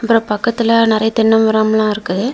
அப்புறம் பக்கத்துல நெறைய தென்ன மரம்லாம் இருக்கு.